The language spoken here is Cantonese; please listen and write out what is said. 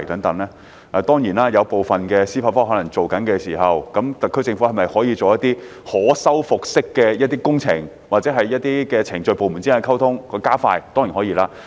他問及一些正在進行司法覆核的項目，特區政府可否進行一些可修復式的工程或加快部門之間的溝通，這當然是可以的。